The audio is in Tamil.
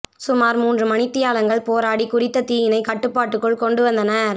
சுமார் மூன்று மணித்தியாலங்கள் போராடி குறித்த தீயினை கட்டுப்பாட்டுக்குள் கொண்டு வந்தனர்